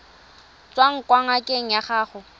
tswang kwa ngakeng ya gago